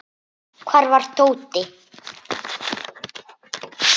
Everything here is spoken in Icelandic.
Hvar var Tóti?